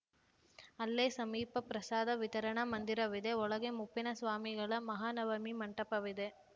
ಅಲ್ಲೇ ಸಮೀಪ ಪ್ರಸಾದ ವಿತರಣಾ ಮಂದಿರವಿದೆ ಒಳಗೆ ಮುಪ್ಪಿನ ಸ್ವಾಮಿಗಳ ಮಹಾನವಮಿ ಮಂಟಪವಿದೆ